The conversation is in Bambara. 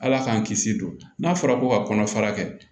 Ala k'an kisi don n'a fɔra ko ka kɔnɔ fara kɛ